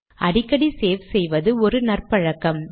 அடிக்கடி சேவ் செய்வது ஒரு நற்பழக்கம்